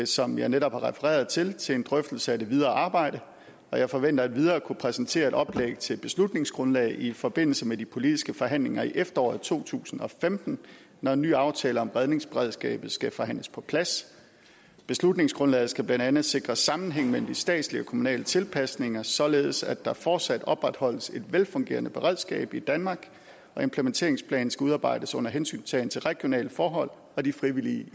som jeg netop har refereret til til en drøftelse af det videre arbejde og jeg forventer endvidere at kunne præsentere et oplæg til et beslutningsgrundlag i forbindelse med de politiske forhandlinger i efteråret to tusind og femten når en ny aftale om redningsberedskabet skal forhandles på plads beslutningsgrundlaget skal blandt andet sikre en sammenhæng mellem de statslige og kommunale tilpasninger således at der fortsat opretholdes et velfungerende beredskab i danmark og implementeringsplanen skal udarbejdes under hensyntagen til de regionale forhold og de frivillige